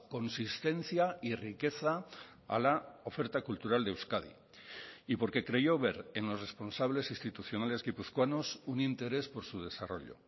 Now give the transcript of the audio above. consistencia y riqueza a la oferta cultural de euskadi y porque creyó ver en los responsables institucionales guipuzcoanos un interés por su desarrollo